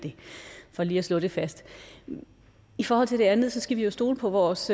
det for lige at slå det fast i i forhold til det andet skal vi jo stole på vores